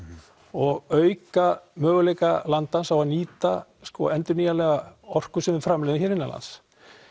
og auka möguleika landans á að nýta endurnýjanlega orku sem við framleiðum hér innanlands